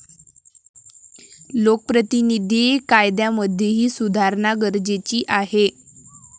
लोकप्रतिनिधी कायद्यामध्येही सुधारणा गरजेची आहे.